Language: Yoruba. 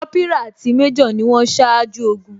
Kópírà àti major ni wón ṣáájú ogun